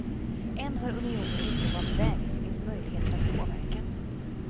Än har unionen inte valt väg, det finns möjligheter att påverka.